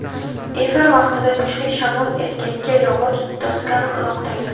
Efir vaqtida kuchli shamol erkakka yog‘och doskani uloqtirgan.